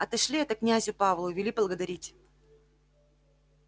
отошли это князю павлу и вели благодарить